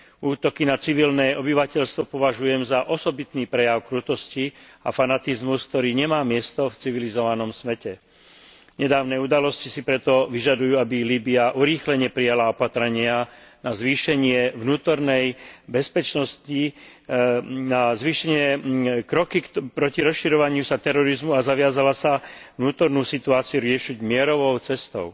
Útoky na civilné obyvateľstvo považujem za osobitný prejav krutosti a fanatizmus, ktorý nemá miesto v civilizovanom svete. Nedávne udalosti si preto vyžadujú, aby Líbya urýchlene prijala opatrenia na zvýšenie vnútornej bezpečnosti, kroky proti rozširovaniu sa terorizmu a zaviazala sa vnútornú situáciu riešiť mierovou cestou.